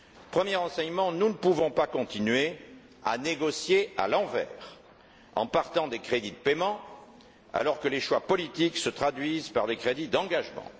Premier enseignement nous ne pouvons pas continuer à négocier à l'envers, en partant des crédits de paiement, alors que les choix politiques se traduisent par des crédits d'engagement.